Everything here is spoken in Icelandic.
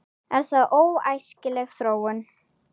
Er það óæskileg þróun?